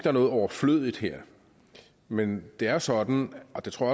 er noget overflødigt her men det er jo sådan og det tror